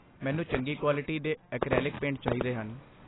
ਮੈਨੂੰ ਚੰਗੀ ਕੁਆਲਿਟੀ ਦੇ ਐਕਰੈਲਿਕ ਪੇਂਟ ਚਾਹੀਦੇ ਹਨ।